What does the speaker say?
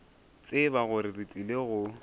tseba gore re tlile go